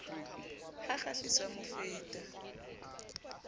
ha kgahliso a mo fata